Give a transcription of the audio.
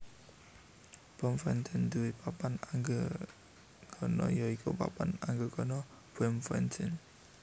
Bloemfontein nduwé papan anggegana ya iku Papan Anggegana Bloemfontein